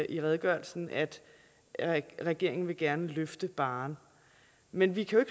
i redegørelsen at at regeringen gerne vil løfte barren men vi kan jo